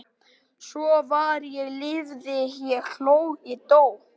Svo var ég lifði ég hló ég dó